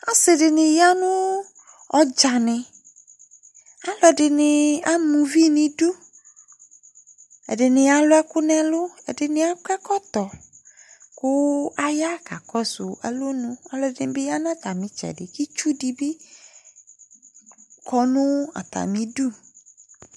asidini yanu atsani aluadini amaouvi nidu edini alueku nelu kakoekoto ku ayakakosu oluedibi yanu atamitsedi itsudibi konuatamidu